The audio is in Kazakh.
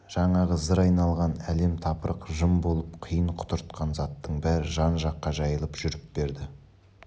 жаңағы зыр айналған әлем-тапырық жым болып құйын құтыртқан заттың бәрі жан-жаққа жайылып жүріп берді